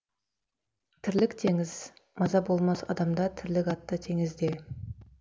тірлік теңіз маза болмас адамда тірлік атты теңізде